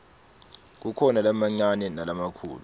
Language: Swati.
kukhona lamancane nalamakhulu